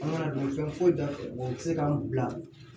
An kana dɔn fɛn foyi t'a la u tɛ se k'an bila